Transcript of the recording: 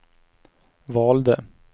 valde